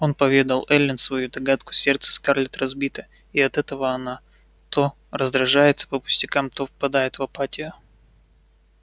он поведал эллин свою догадку сердце скарлетт разбито и от этого она то раздражается по пустякам то впадает в апатию